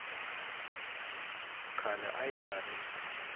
khale a ya nga ri